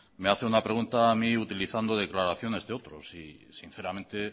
me hace una pregunta a mí utilizando declaraciones de otros y sinceramente